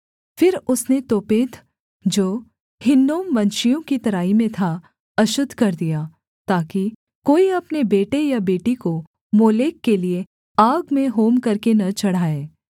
फिर उसने तोपेत जो हिन्नोमवंशियों की तराई में था अशुद्ध कर दिया ताकि कोई अपने बेटे या बेटी को मोलेक के लिये आग में होम करके न चढ़ाए